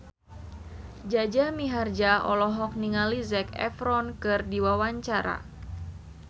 Jaja Mihardja olohok ningali Zac Efron keur diwawancara